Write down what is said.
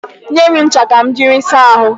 Nye m ncha ka m jiri saa ahụ.